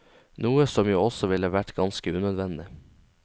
Noe som jo også ville vært ganske unødvendig.